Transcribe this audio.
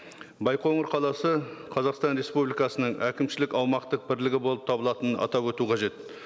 байқоңыр қаласы қазақстан республикасының әкімшілік аумақтық бірлігі болып табылатынын атап өту қажет